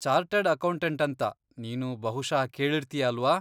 Chartered accountant ಅಂತ ನೀನು ಬಹುಶಃ ಕೇಳಿರ್ತೀಯಾ ಅಲ್ವಾ?